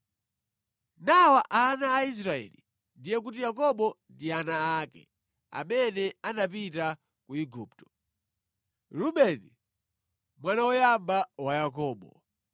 Nawa ana a Israeli (ndiye kuti Yakobo ndi ana ake) amene anapita ku Igupto: Rubeni mwana woyamba wa Yakobo.